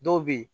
Dɔw bɛ yen